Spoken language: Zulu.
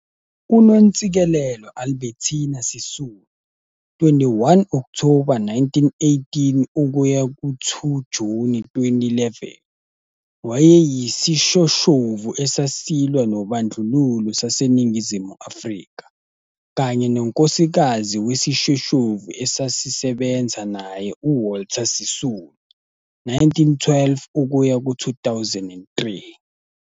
UNontsikelelo Albertina Sisulu, 21 Okthoba 1918 - 2 Juni 2011, wayeyisishoshovu esasilwa nobandlululo saseNingizimu Afrika, kanye nonkosikazi wesishoshovu esasisebenza naye uWalter Sisulu, 1912-2003.